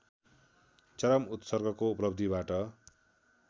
चरम उत्कर्षको उपलब्धिबाट